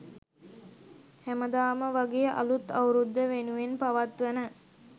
හැමදාම වගේ අළුත් අවුරුද්ද වෙනුවෙන් පවත්වන